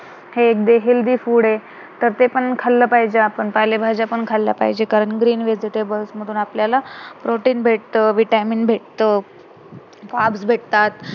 हे जे healthy food आहे, तर ते पण खाल्लं पाहिजे आपण पाले भाज्या पण खाल्ल्या पाहिजे कारण green vegetables मधून आपल्याला protein भेटतं vitamin भेटतं carbs भेटतात